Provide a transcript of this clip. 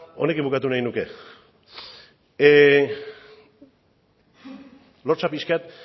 honekin bukatu nahi nuke lotsa pixka bat